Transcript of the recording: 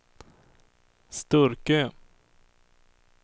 Sturkö